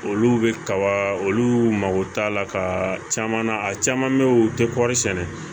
Olu bɛ kaba olu mago t'a la ka caman na a caman bɛ yen u tɛ kɔri sɛnɛ